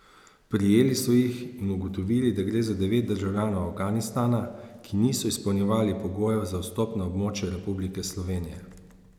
Prijeli so jih in ugotovili, da gre za devet državljanov Afganistana, ki niso izpolnjevali pogojev za vstop na območje Republike Slovenije.